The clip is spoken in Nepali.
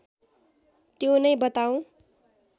त्यो नै बताऊँ